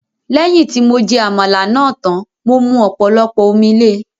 Lẹ́yìn tí mo jẹ Àmàlà náà tán, mo mu ọ̀pọ̀lọpọ̀ omi le